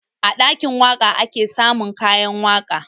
A ɗakin waƙa ake samun kayan waƙa